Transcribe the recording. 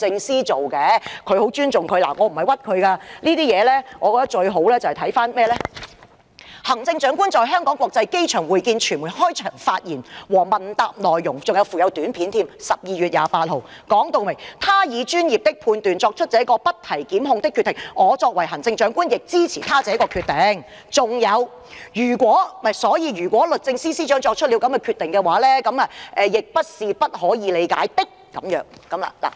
新聞公報的內文直接指出"她以專業的判斷作出這個不提檢控的決定，我作為行政長官亦支持她這個決定......所以如果律政司司長作出了這個決定，亦不是不可以理解的。